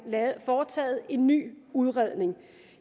foretaget en ny udredning